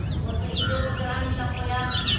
осы үйде отырамын да қоям